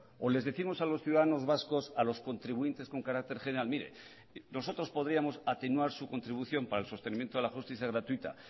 o les décimos a los ciudadanos vascos a los contribuyentes con carácter general mire nosotros podríamos atenuar su contribución para el sostenimiento de la justicia gratuita